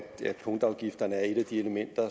punktafgifterne er et af de elementer